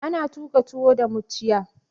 Ana tuƙa tuwo da mucciya.